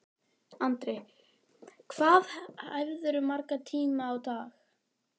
Andri: Hvað æfirðu marga tíma á dag?